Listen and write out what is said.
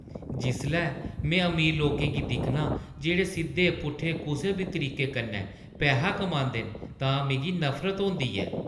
जिसलै में अमीर लोकें गी दिक्खनां जेह्ड़े सिद्धे-पुट्ठे कुसै बी तरीके कन्नै पैहा कमांदे न, तां मिगी नफरत होंदी ऐ।